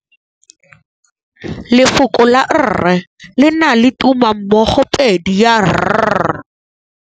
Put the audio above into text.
Lefoko la rre, le na le tumammogôpedi ya, r.